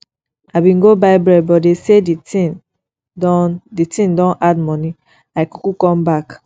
i bin go buy bread but dey sey di tin don di tin don add moni i kuku come back